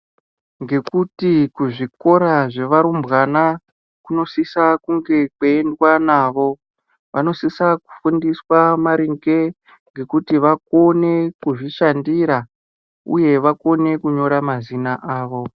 Ngekuti kuzvikora zvevarumbwa kunosisa kunge kweiendwa navo vanosisa kudzidziswa kuti vakone kuzvishandira uye vakone kunyora mazita avo .